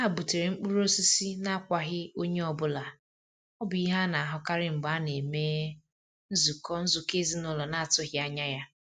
Ha butere mkpụrụ osisi n'akwaghị onye ọ bụla, ọ bụ ihe a na-ahụkarị mgbe a na-eme nzukọ nzukọ ezinaụlọ na-atụghị anya ya.